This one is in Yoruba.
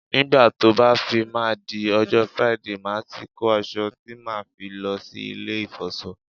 Nígbà tó bá fi máa di ọjọ́ Friday, màá ti kó aṣọ tí màá fi lọ sí ilé ìfọṣọ